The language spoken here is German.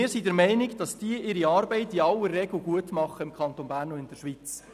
Wir sind der Meinung, dass diese ihre Arbeit in aller Regel gut machen im Kanton Bern und in der Schweiz.